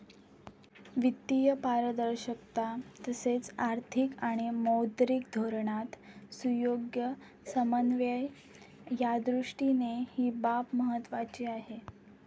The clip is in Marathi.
वित्तीय पारदर्शकता तसेच आर्थिक आणि मौद्रिक धोरणात सुयोग्य समन्वय यादृष्टीने ही बाब महत्त्वाची आहे.